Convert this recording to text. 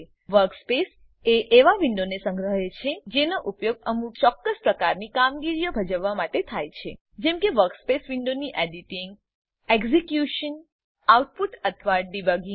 workspace એ એવા વિન્ડોનો સંગ્રહ છે જેનો ઉપયોગ અમુક ચોક્કસ પ્રકારની કામગીરીઓ ભજવવા માટે થાય છે જેમ કે વર્કસ્પેસ વિન્ડોની એડીટીંગ એક્ઝીક્યુશન આઉટપુટ અથવા ડિબગીંગ